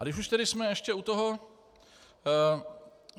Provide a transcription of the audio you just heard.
A když už jsme tady ještě u toho.